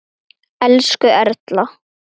Elsku Erla.